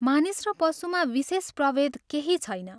मानिस र पशुमा विशेष प्रभेद केही छैन।